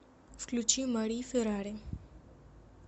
включи мари феррари